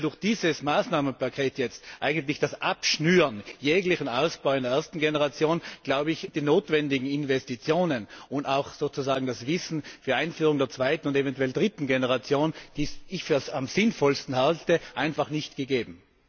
Und wenn wir durch dieses Maßnahmenpaket jetzt eigentlich das abschnüren jeglichen Ausbau in der ersten Generation sind die notwendigen Investitionen und auch sozusagen das Wissen für die Einführung der zweiten und eventuell dritten Generation, die ich für am sinnvollsten halte, einfach nicht gegeben.